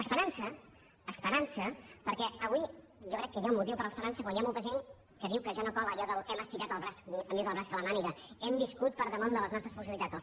esperança esperança perquè avui jo crec que hi ha un motiu per a l’esperança quan hi ha molta gent que diu que ja no cola allò de l’ hem estirat més el brac que la màniga hem viscut per damunt de les nostres possibilitats